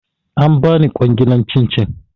An bani kwangilar cin cin